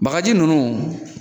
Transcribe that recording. Bagaji nunnu